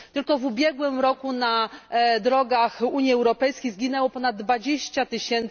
Tylko w ubiegłym roku na drogach Unii Europejskiej zginęło ponad 20 tys.